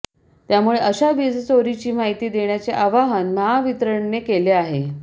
त्यामुळे अशा वीजचोरीची माहिती देण्याचे आवाहन महावितरणने केले आहे